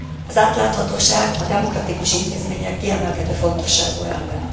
Az átláthatóság a demokratikus intézmények kiemelkedő fontosságú elve.